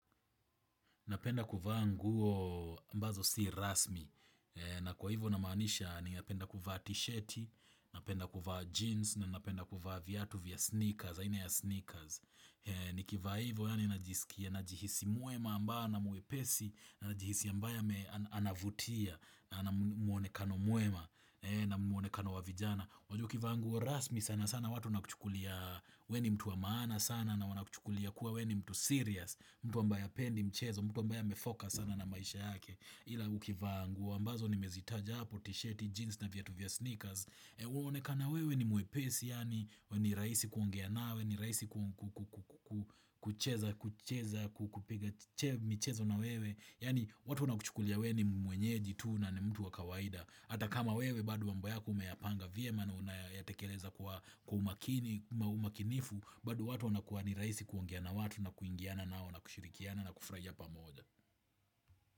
Napenda kuvaa nguo ambazo si rasmi na kwa hivyo namaanisha ni napenda kuvaa tishati, napenda kuvaa jeans na napenda kuvaa viatu vya sneakers, aina ya sneakers. Nikivaa hivyo yaani najisikia najihisi mwema ambao na mwepesi na jihisi ambaye anavutia na ana mwonekano mwema na mwonekano wa vijana. Wajua ukivaa nguo, rasmi sana sana watu wanakuchukulia we ni mtu wa maana sana na wanakuchukulia kuwa we ni mtu serious mtu ambaye hapendi mchezo mtu ambaye amefocus sana na maisha yake Ila ukivaa nguo, ambazo nimezitaja hpo tishiti, jeans na viatu vya sneakers huonekana wewe ni mwepesi Yaani, we ni rahisi kuongea nawe ni rahisi kucheza kucheza, kupiga michezo na wewe Yaani, watu wanakuchukulia wewe ni mwenyeji tu na ni mtu wa kawaida Hata kama wewe bado mambo yako umeyapanga vyema na unayatekeleza kwa umakini, umakinifu bado watu wanakuwa ni rahisi kuongea na watu na kuingiana nao na kushirikiana na kufurahia pamoja.